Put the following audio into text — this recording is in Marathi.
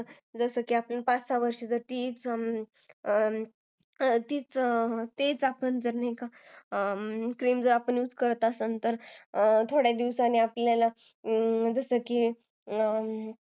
जरा पण पाच-सहा वर्ष तीच cream आपण use करत असेल थोड्या दिवसांनी आपल्याला जसे की